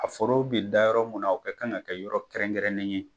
A foro bɛ da yɔrɔ mun na o ka kan ka kɛ yɔrɔ kɛrɛnkɛrɛnen ye